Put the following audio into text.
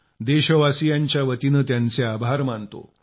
देशवासियांच्या वतीने त्यांचे आभार मानतो